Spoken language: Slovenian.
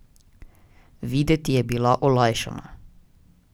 Videti je bila olajšana.